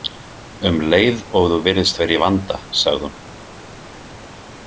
Um leið og þú virðist vera í vanda, sagði hún.